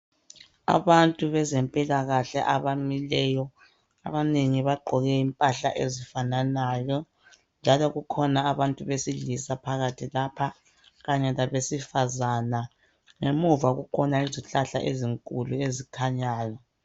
Abantu beze mpilakahle abamileyo. Abanengi bagqoke impahla ezifananayo. Njalo kukhona abantu besilisa phakathi lapha kanye labesifazana. Ngemuva kukhona izihlahla ezinkulu ezikhanyayo